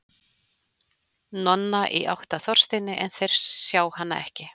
Nonna, í átt að Þorsteini, en þeir sjá hana ekki.